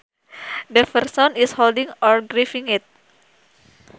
The person is holding or gripping it